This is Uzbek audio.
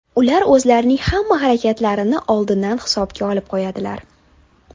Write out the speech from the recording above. Ular o‘zlarining hamma harakatlarini oldindan hisobga olib qo‘yadilar.